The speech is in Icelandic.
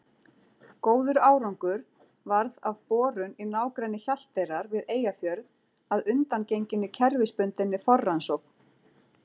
Góður árangur varð af borun í nágrenni Hjalteyrar við Eyjafjörð að undangenginni kerfisbundinni forrannsókn.